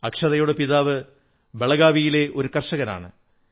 അക്ഷതയുടെ പിതാവ് ബളഗാവിയിലെ ഒരു കർഷകനാണ്